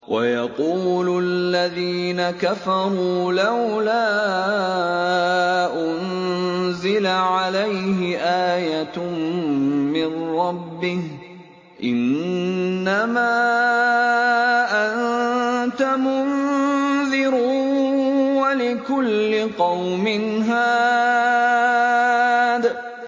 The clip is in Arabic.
وَيَقُولُ الَّذِينَ كَفَرُوا لَوْلَا أُنزِلَ عَلَيْهِ آيَةٌ مِّن رَّبِّهِ ۗ إِنَّمَا أَنتَ مُنذِرٌ ۖ وَلِكُلِّ قَوْمٍ هَادٍ